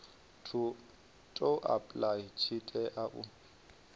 to apply tshi tea u